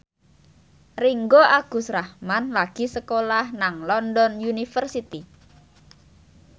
Ringgo Agus Rahman lagi sekolah nang London University